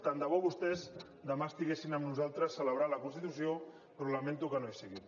tant de bo que vostès demà estiguessin amb nosaltres celebrant la constitució però lamento que no hi siguin